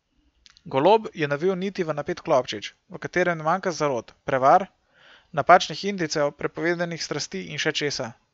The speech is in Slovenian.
Golob je navil niti v napet klobčič, v katerem ne manjka zarot, prevar, napačnih indicev, prepovedanih strasti in še česa.